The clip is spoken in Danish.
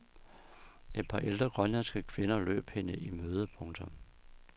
Et par ældre grønlandske kvinder løb hende i møde. punktum